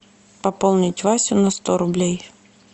пополнить васю на сто рублей